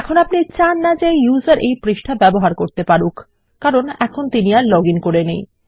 এখন আপনি চান না যে ব্যবহারকারী এই পৃষ্ঠা ব্যবহার করতে পারুক কারণ তিন এখন লগইন করে নেই